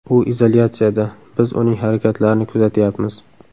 U izolyatsiyada, biz uning harakatlarini kuzatyapmiz.